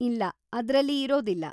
ಇಲ್ಲ, ಅದ್ರಲ್ಲಿ ಇರೋದಿಲ್ಲ.